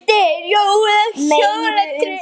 Tókstu aldrei eftir því?